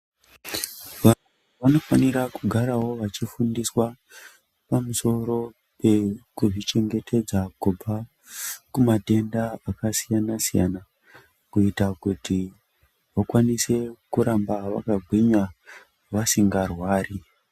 Vanhu vanofanira kugarawo vachifundiswa pamusoro pekuzvichengetedza kubva kumatenda akasiyana-siyana kuita kuti vakwanise kuramba vakagwinya vasingarwari.